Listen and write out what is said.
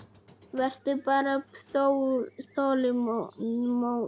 Vertu bara þolinmóð.